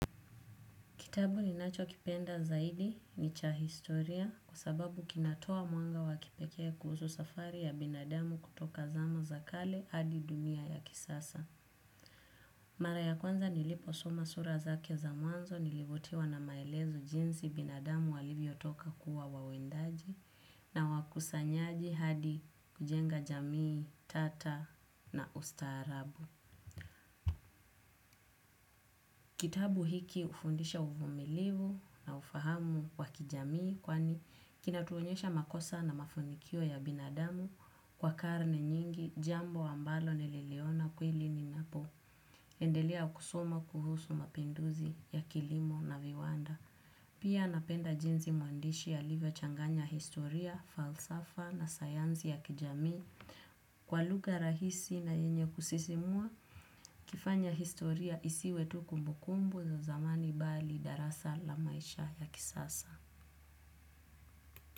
Kitabu ninacho kipenda zaidi ni cha historia kwa sababu kinatoa mwanga wakipekea kuhusu safari ya binadamu kutoka zama za kale hadi dunia ya kisasa. Mara ya kwanza nilipo soma sura zake za mwanzo nilivutiwa na maelezo jinsi binadamu walivyo toka kuwa wawindaji na wakusanyaji hadi kujenga jamii tata na ustaarabu. Kitabu hiki hufundisha uvumilivu na ufahamu kwa kijamii kwani kinatuonyesha makosa na mafanikio ya binadamu kwa karne nyingi jambo ambalo nililiona kweli ninapo. Endelea kusoma kuhusu mapinduzi ya kilimo na viwanda. Pia napenda jinsi mwandishi alivyo changanya historia, falsafa na sayansi ya kijamii. Kwa lugha rahisi na yenye kusisimua, hukifanya historia isiwe tu kumbukumbu za zamani bali darasa la maisha ya kisasa.